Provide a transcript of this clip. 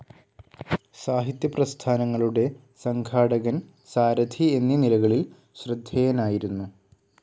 സാഹിത്യ പ്രസ്ഥാനങ്ങളുടെ സംഘാടകൻ സാരഥി, എന്നീ നിലകളിൽ ശ്രദ്ധേയനായിരുന്നു.